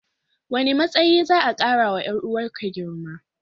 Wane matsayi za'a karawa 'yar uwarka girma?